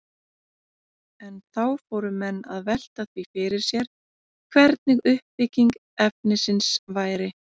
En þá fóru menn að velta því fyrir sér hvernig uppbygging efnisins væri.